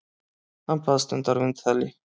Hann baðst undan viðtali.